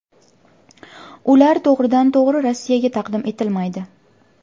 Ular to‘g‘ridan to‘g‘ri Rossiyaga taqdim etilmaydi.